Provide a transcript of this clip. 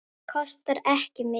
Kostar ekki mikið.